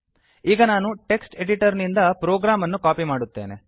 ಈಗ ನಾನು text editor ನಿಂದ ಪ್ರೋಗ್ರಾಂ ಅನ್ನು ಕಾಪಿ ಮಾಡುತ್ತೇನೆ